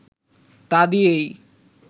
তা দিয়েই